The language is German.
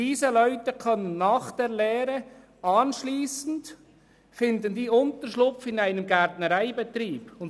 Diese Leute können nach der Lehre in einer Gärtnerei arbeiten.